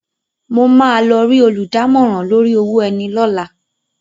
Mo máa lọ rí olùdámọ̀ràn lórí owó ẹni lọ́la.